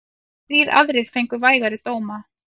Þrír aðrir fengu vægari dóma.